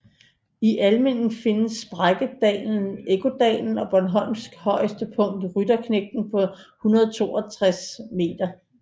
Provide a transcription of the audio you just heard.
I Almindingen findes sprækkedalen Ekkodalen og Bornholms højeste punkt Rytterknægten på 162 m